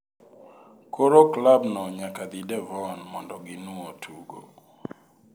Koro klabno nyaka dhi Devon mondo ginuo tugo.